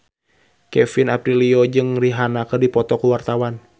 Kevin Aprilio jeung Rihanna keur dipoto ku wartawan